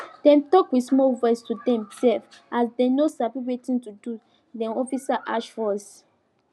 dem tok with small voice to dem sef as dem no sabi wetin to do de officer harsh voice